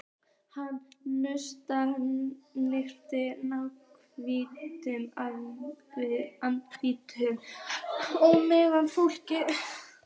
Hann naut einatt návista við andríkt og menntað fólk.